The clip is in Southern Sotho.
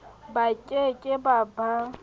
ba ke ke ba ba